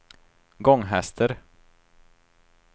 Gånghester